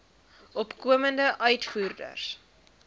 opkomende uitvoerders